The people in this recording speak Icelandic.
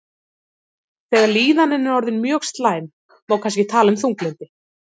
þegar líðanin er orðin mjög slæm má kannski tala um þunglyndi